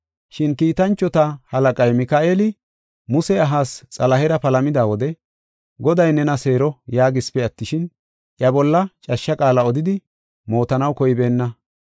Shin kiitanchota halaqay Mika7eeli Muse ahaas Xalahera palamida wode, “Goday nena seero” yaagisipe attishin, iya bolla cashsha qaala odidi mootanaw koybeenna.